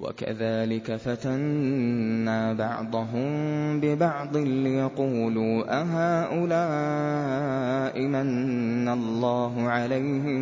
وَكَذَٰلِكَ فَتَنَّا بَعْضَهُم بِبَعْضٍ لِّيَقُولُوا أَهَٰؤُلَاءِ مَنَّ اللَّهُ عَلَيْهِم